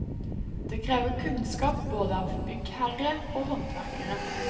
Det krever kunnskap både av byggherre og håndverkere.